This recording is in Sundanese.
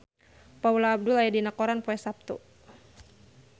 Paula Abdul aya dina koran poe Saptu